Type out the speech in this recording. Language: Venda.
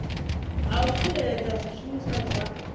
ha u tsireledza zwishumiswa zwa